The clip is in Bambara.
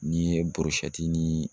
N'i ye ni